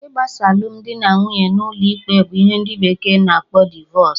Igbasa alụmdi na nwunye n'ụlọ ikpe bụ ihe ndị bekee na akpọ divọs